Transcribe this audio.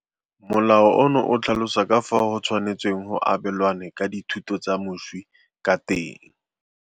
Molao ono o tlhalosa ka fao go tshwanetsweng go abelanwe ka dithoto tsa moswi ka teng.